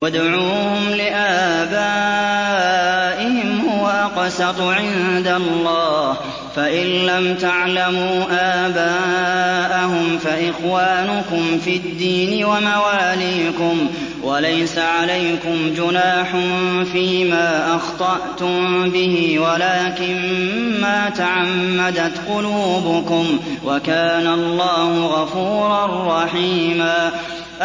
ادْعُوهُمْ لِآبَائِهِمْ هُوَ أَقْسَطُ عِندَ اللَّهِ ۚ فَإِن لَّمْ تَعْلَمُوا آبَاءَهُمْ فَإِخْوَانُكُمْ فِي الدِّينِ وَمَوَالِيكُمْ ۚ وَلَيْسَ عَلَيْكُمْ جُنَاحٌ فِيمَا أَخْطَأْتُم بِهِ وَلَٰكِن مَّا تَعَمَّدَتْ قُلُوبُكُمْ ۚ وَكَانَ اللَّهُ غَفُورًا رَّحِيمًا